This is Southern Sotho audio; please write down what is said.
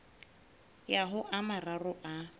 ya ho a mararo a